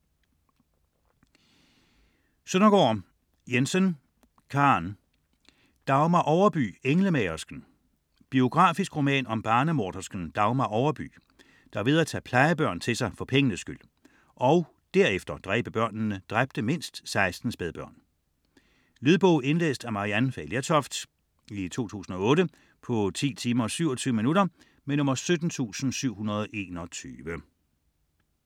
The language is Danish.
Søndergaard Jensen, Karen: Dagmar Overby: englemagersken Biografisk roman om barnemordersken Dagmar Overby, der ved at tage plejebørn til sig for pengenes skyld, og derefter dræbe børnene, dræbte mindst 16 spædbørn. Lydbog 17721 Indlæst af Maryann Fay Lertoft, 2008. Spilletid: 10 timer, 27 minutter.